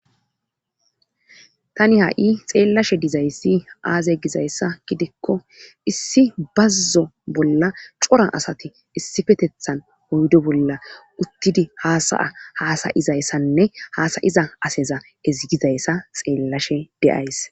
Tani ha'i xeellashe dizayssi aaze gizayssa gidikko issi bazzo bolla cora asati issifetethan oydo bolla uttidi haasaya haasayizayssanne hasayiza aseza ezigizayssa xeellashe deays.